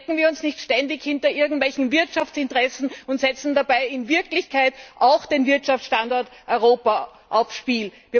Verstecken wir uns nicht ständig hinter irgendwelchen Wirtschaftsinteressen und setzen dabei in Wirklichkeit auch den Wirtschaftsstandort Europa aufs Spiel!